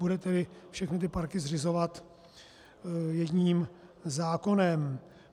Bude tedy všechny ty parky zřizovat jedním zákonem.